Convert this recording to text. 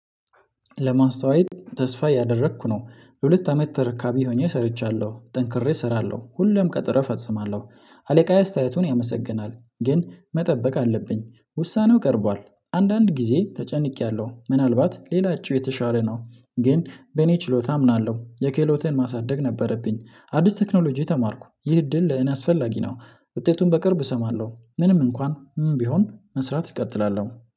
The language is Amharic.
ለማስተወያየት ተስፋ አያደረኩ ነው። ለሁለት አመት ተረካቢ ሆኜ ሰርቻለው ጠንክሬ እሰራለው ሁሌም ቀጠረ እፈጽማለው። አለቃዬ አስተያየቱን ያመሰግናል ግን መጠበቅ አለብኝ ውሳኔው ቀርቧል አንዳንድ ጊዜ ተጨንቄያለሁ ምናልባት ሌላቸው የተሻለ ነው። ግን በእኔ ችሎታ አምናለው የክህሎትን ማሳደግ ነበረብኝ አዲስ ቴክኖሎጂ ተማርኩ ይህ እድል ለእኔ አስፈላጊ ነው። ውጤቱን በቅርብ እሰማለው ምንም እንኳን ቢሆን መስራት እቀጥላለው።